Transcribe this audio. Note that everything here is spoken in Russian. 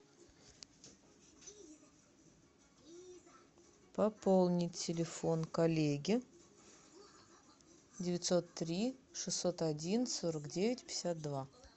пополнить телефон коллеги девятьсот три шестьсот один сорок девять пятьдесят два